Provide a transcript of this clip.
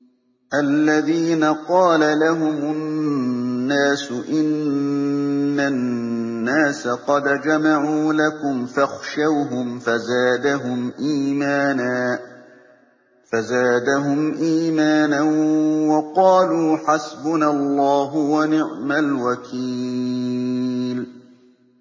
الَّذِينَ قَالَ لَهُمُ النَّاسُ إِنَّ النَّاسَ قَدْ جَمَعُوا لَكُمْ فَاخْشَوْهُمْ فَزَادَهُمْ إِيمَانًا وَقَالُوا حَسْبُنَا اللَّهُ وَنِعْمَ الْوَكِيلُ